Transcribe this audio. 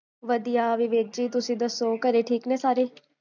ਵਧਿਆ ਵਿਵੇਕ ਜੀ, ਤੁਸੀਂ ਦੱਸੋ? ਘਰੇ ਠੀਕ ਨੇ ਸਾਰੇ?